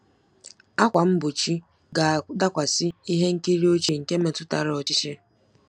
ákwà mgbochi ga-adakwasị ihe nkiri ochie nke metụtara ọchịchị.